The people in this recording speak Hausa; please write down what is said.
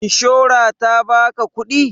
Ishora ta ba ka kuɗi?